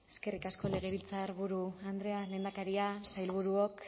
eskerrik asko legebiltzarburu andrea lehendakaria sailburuok